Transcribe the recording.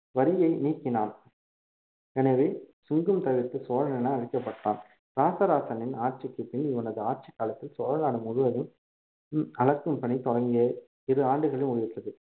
வரியை நீக்கினான் எனவே சுங்கம் தவிர்த்த சோழன் என அழைக்கப்பட்டான் ராசராசனின் ஆட்சிக்குப் பின் இவனது ஆட்சிக் காலத்தில் சோழநாடு முழுவதும் உம் அளக்கும் பணி தொடங்கிய இரு ஆண்டுகளில் முடிவுற்றது